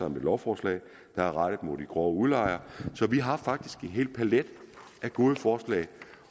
om et lovforslag der er rettet mod de grove udlejere så vi har faktisk en hel palet af gode forslag